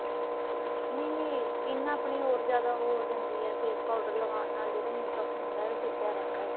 ਨਹੀਂ ਨਹੀਂ skin ਆਪਣੀ ਹੋਰ ਜਿਆਦਾ ਉਹ ਜਾਂਦੀ ਏ face powder ਲਗਾਉਣ ਨਾਲ ਜਿਹੜਾ makeup ਹੁੰਦਾ ਉਹ ਟਿਕਿਆ ਰਹਿੰਦਾ ਏ